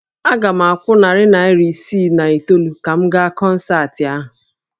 Aga m akwụ narị naira isii na itoolu ka m gaa kọnsaatị ahụ